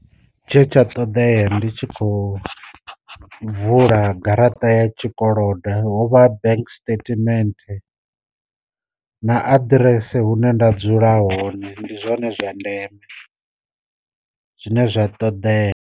Tshe tsha ṱoḓea ndi tshi kho vula garaṱa ya tshikolodo hovha bank stament, na aḓirese hune nda dzula hone ndi zwone zwa ndeme zwine zwa ṱoḓea.